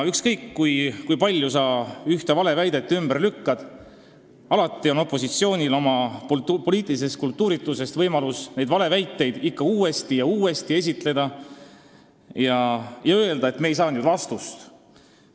Ükskõik kui palju sa ühte valeväidet ümber lükkad, alati on opositsioonil oma poliitilises kultuurituses võimalus seda ikka uuesti ja uuesti esitada ning öelda, et nad ei saanud vastust.